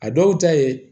A dɔw ta ye